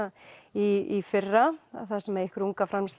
í fyrra þar sem einhver